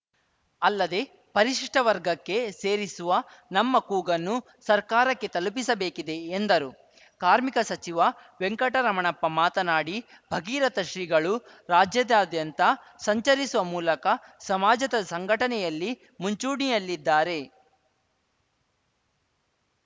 ಅಲ್ಲದೆ ಪರಿಶಿಷ್ಟವರ್ಗಕ್ಕೆ ಸೇರಿಸುವ ನಮ್ಮ ಕೂಗನ್ನು ಸರ್ಕಾರಕ್ಕೆ ತಲುಪಿಸಬೇಕಿದೆ ಎಂದರು ಕಾರ್ಮಿಕ ಸಚಿವ ವೆಂಕಟರಮಣಪ್ಪ ಮಾತನಾಡಿ ಭಗೀರಥ ಶ್ರೀಗಳು ರಾಜ್ಯದಾದ್ಯಂತ ಸಂಚರಿಸುವ ಮೂಲಕ ಸಮಾಜದ ಸಂಘಟನೆಯಲ್ಲಿ ಮುಂಚೂಣಿಯಲ್ಲಿದ್ದಾರೆ